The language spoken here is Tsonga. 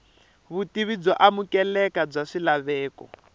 vutivi byo amukeleka bya swilaveko